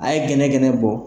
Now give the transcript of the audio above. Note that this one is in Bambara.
A ye gɛnɛgɛnɛ bɔ